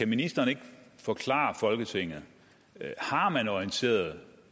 ministeren ikke forklare folketinget har man orienteret